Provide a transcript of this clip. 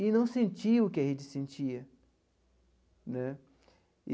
E não sentiam o que a gente sentia né.